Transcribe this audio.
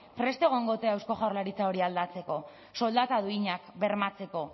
prest egongo ote da eusko jaurlaritza hori aldatzeko soldata duinak bermatzeko